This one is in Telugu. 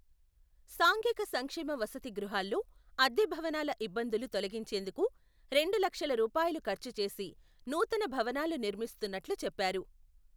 సాంఘిక సంక్షేమ వసతిగృహాల్లో, అద్దెభవనాల ఇబ్బందులు తొలగించేందుకు, రెండు లక్షల రూపాయలు ఖర్చు చేసి, నూతన భవనాలు నిర్మిస్తున్నట్లు చెప్పారు.